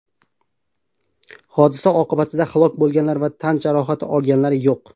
Hodisa oqibatida halok bo‘lganlar va tan jarohati olganlar yo‘q.